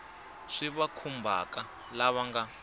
swi va khumbhaka lava nga